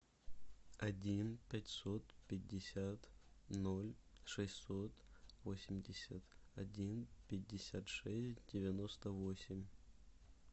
один пятьсот пятьдесят ноль шестьсот восемьдесят один пятьдесят шесть девяносто восемь